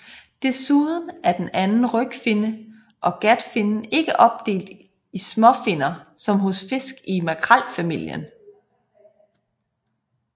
Desuden er den anden rygfinne og gatfinnen ikke opdelt i småfinner som hos fisk i makrelfamilien